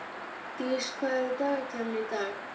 Dís, hvað er í dagatalinu í dag?